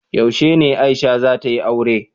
Yaushe ne Aisha za ta yi aure?